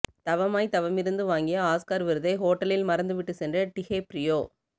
தவமாய் தவமிருந்து வாங்கிய ஆஸ்கர் விருதை ஹோட்டலில் மறந்துவிட்டு சென்ற டிகேப்ரியோ